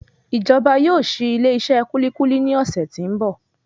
Ìjọba yóò ṣi ilé iṣé kúlíkúlí ní ọ̀sẹ̀ tí ń bọ̀.